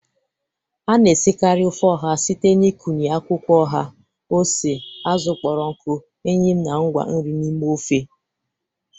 A na-esikarị ofe oha site n'ịkụnye akwụkwọ oha, ose, azụ kpọrọ nkụ, eyịm na ngwa nri n'ime ofe.